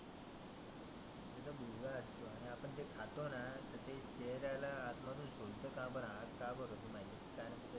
जर जर आपण ते खातोना ते शरीराला आत मधुन काळपट होतो.